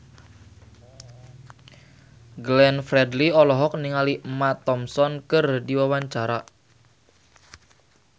Glenn Fredly olohok ningali Emma Thompson keur diwawancara